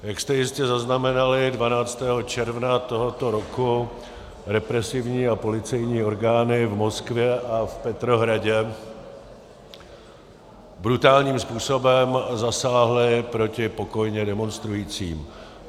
Jak jste jistě zaznamenali, 12. června tohoto roku represivní a policejní orgány v Moskvě a v Petrohradě brutálním způsobem zasáhly proti pokojně demonstrujícím.